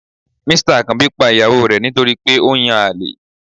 Mr akanbi pa iyawo re nítorí pe o n yán alè